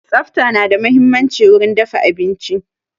Tsafta na da muhimmanci wurin dafa abinci.